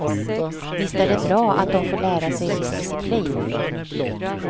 Visst är det bra att de får lära sig viss disciplin.